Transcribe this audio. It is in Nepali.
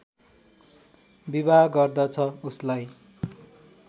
विवाह गर्दछ उसलाई